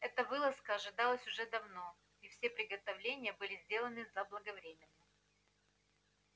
эта вылазка ожидалась уже давно и все приготовления были сделаны заблаговременно